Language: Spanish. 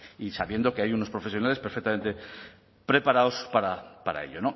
sí y sabiendo que hay unos profesionales perfectamente preparados para ello